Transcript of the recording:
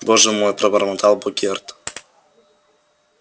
боже мой пробормотал богерт